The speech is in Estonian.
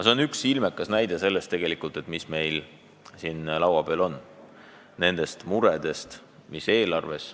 See on üks ilmekas näide murest, mis on seotud laua peal oleva eelarvega.